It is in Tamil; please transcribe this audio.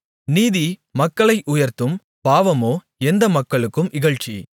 நீதி மக்களை உயர்த்தும் பாவமோ எந்த மக்களுக்கும் இகழ்ச்சி